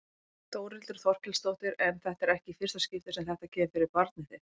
Þórhildur Þorkelsdóttir: En þetta er ekki í fyrsta skipti sem þetta kemur fyrir barnið þitt?